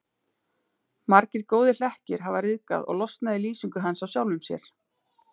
Margir góðir hlekkir hafa ryðgað og losnað í lýsingu hans á sjálfum sér.